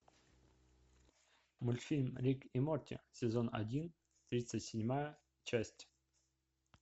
мультфильм рик и морти сезон один тридцать седьмая часть